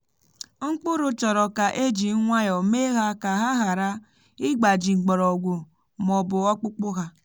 mkpụrụ chọrọ ka e ji nwayọ mee ha ka ha ghara ịgbaji mgbọrọgwụ ma ọ bụ ọkpụkpụ ha.